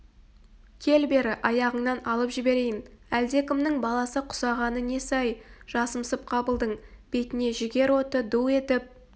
кел бері аяғыңнан алып жіберейін әлдекімнің баласы құсағаны несі-ай жасымсып қабылдың бетіне жігер оты ду етіп